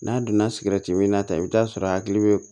N'a donna sigɛriti minna ta i bɛ t'a sɔrɔ a hakili bɛ